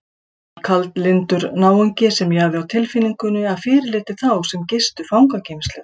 Hann var kaldlyndur náungi sem ég hafði á tilfinningunni að fyrirliti þá sem gistu fangageymslur.